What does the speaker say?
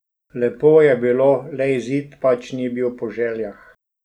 Lepo je bilo, le izid pač ni bil po željah ...